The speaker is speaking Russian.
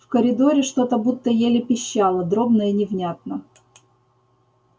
в коридоре что-то будто еле пищало дробно и невнятно